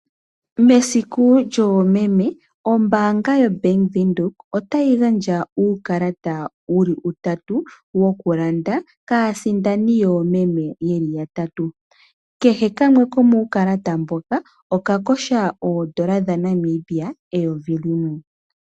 Mesiku lyoomeme o bank yo Bank Windhoek otayi gandja uukalata wuli utatu woku landa kaasindani yoomeme yeli yatatu kehe kamwe komu kalatata mboka oka kotha oondola dha Namibia eyovi limwe.